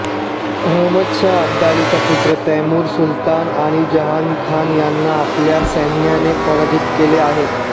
अहमदशहा अब्दालीचा पुत्र तैमु्र सुलतान आणि जहानखान यांना आपल्या सैन्याने पराजित केले आहे